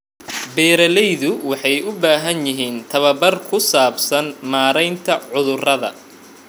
Beeraleydu waxay u baahan yihiin tababar ku saabsan maareynta cudurrada.